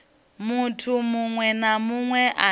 muthu muṅwe na muṅwe ane